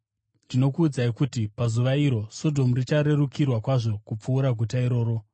Ndinokuudzai kuti pazuva iro, Sodhomu richarerukirwa kwazvo kupfuura guta iroro.